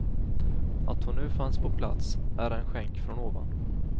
Att hon nu fanns på plats är en skänk från ovan.